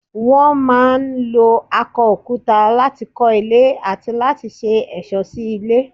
Wọ́n máa ń lo akọ òkúta láti kọ́ ilé àti láti ṣe ẹ̀ṣọ́ sí ilé.